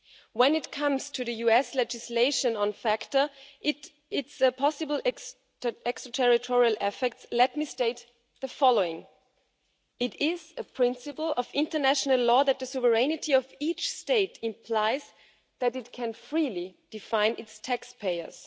When it comes to the US legislation on FATCA and its possible extraterritorial effects, let me state the following it is a principle of international law that the sovereignty of each state implies that it can freely define its taxpayers.